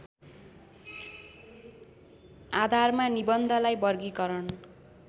आधारमा निबन्धलाई वर्गीकरण